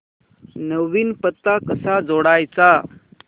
नवीन पत्ता कसा जोडायचा